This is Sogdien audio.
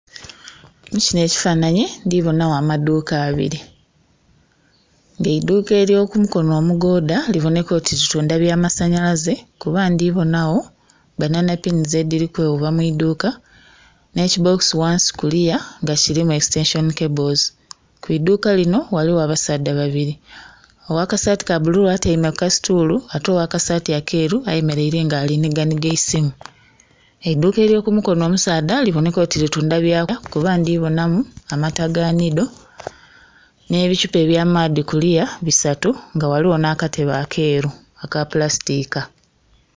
Mukinho ekifananhi ndhi bonhagho amaduuka abiri nga eidhuka elyo ku mukonho omugodha libonheka oti litundha bya masanhalaze kuba ndhi kubonagho banana pinizi edhiri kweghuba mwidhuka nhe kibokisi kuliya nga kilimu ekisitenseni kebozi. Kwidhuka kinho ghaligho abasaadha babiri, ogha kasati ka bulu atyaime ku ka situulu ate ogha kasati akeru ayemereire nga ali ku nhiga nhiga eisimu. Eidhuka elyo ku mukonho omusaadha libonheka oti litundha bya kulya kuba ndhi bonhamu amata aga nido nhe bichupa bya maadhi kuluya bisatu nga ghaligho nha katebe akeru akapulasitika.